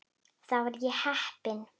Þar var ég heppinn